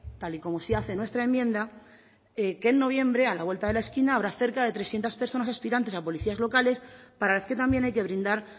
tal y como sí hace nuestra enmienda que en noviembre a la vuelta de la esquina habrá cerca de trescientos personas aspirantes a policías locales para las que también hay que brindar